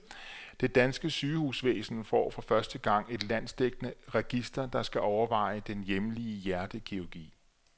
Det danske sygehusvæsen får for første gang et landsdækkende register, der skal overvåge den hjemlige hjertekirurgi.